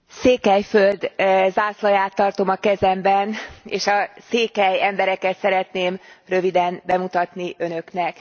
Székelyföld zászlaját tartom a kezemben és a székely embereket szeretném röviden bemutatni Önöknek.